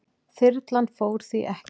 Þyrlan fór því ekki.